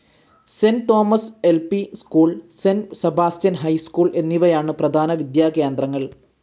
Saint Thomas LP. School, Saint Sebastian high school എന്നിവയാണ് പ്രധാന വിദ്യാകേന്ദ്രങ്ങൾ.